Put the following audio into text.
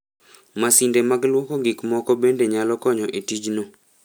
Masinde mag lwoko gik moko bende nyalo konyo e tijno.